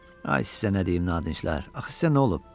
Ay, sizə nə deyim, nadinclər, axı sizə nə olub?